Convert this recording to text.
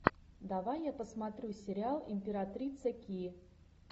давай я посмотрю сериал императрица ки